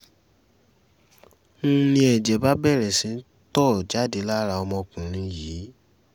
n ní ẹ̀jẹ̀ bá bẹ̀rẹ̀ sí í tó jáde lára ọmọkùnrin yìí